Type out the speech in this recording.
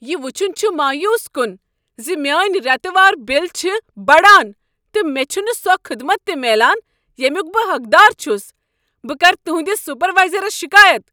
یہ وچھن چھ مایوس کن ز میٛٲنۍ ریتہٕ وار بل چھ بڑان، تہٕ مےٚ چھ نہٕ سۄ خدمت تہ میلان ییٚمیک بہٕ حقدار چھس۔ بہٕ کرٕ تہنٛدس سپروایزرس شکایت۔